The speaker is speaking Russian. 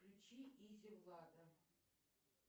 включи изи влада